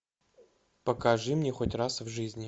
покажи мне хоть раз в жизни